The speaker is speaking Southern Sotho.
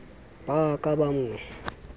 ba a ka ba mo